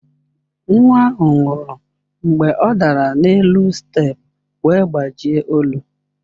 Nwa ahụ nwụrụ mgbe ọ dara n'elu steepụ wee gbajie olu.